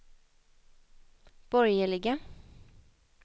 borgerliga